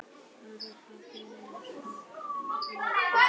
Bara pabbinn er svolítið ófríður.